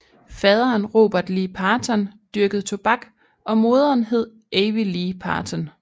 Faderen Robert Lee Parton dyrkede tobak og moderen hed Avie Lee Parton